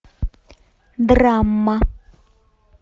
драма